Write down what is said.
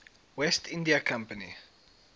west india company